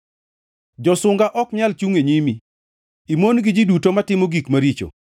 Josunga ok nyal chungʼ e nyimi; imon gi ji duto matimo gik maricho.